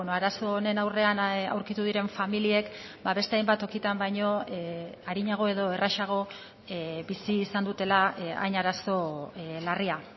arazo honen aurrean aurkitu diren familiek beste hainbat tokitan baino arinago edo errazago bizi izan dutela hain arazo larria